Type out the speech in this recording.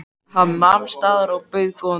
Hann nam staðar og bauð góðan dag.